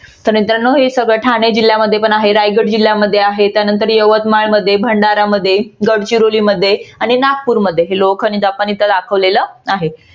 तर मित्रानो हे सगळं ठाणे जिल्यामध्ये पण आहे रायगड जिल्ह्यामध्ये आहे. त्यानंतर यवतमाळ मध्ये भंडारा मध्ये गडचिरोली मध्ये आणि नागपूर मध्ये हे लोह खनिज आपण इथे दाखवलेलं आहे.